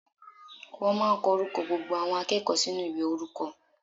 Wọ́n máà ń kọ orúkọ gbogbo àwọn akẹ́kọ̀ọ́ sínú ìwé orúkọ.